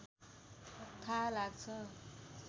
थाहा लाग्छ